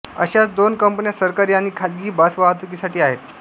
अशाच दोन कंपन्या सरकारी आणि खासगी बसवाहतुकीसाठी आहेत